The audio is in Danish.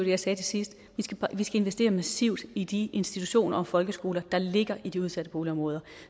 jeg sagde til sidst at vi skal investere massivt i de institutioner og folkeskoler der ligger i de udsatte boligområder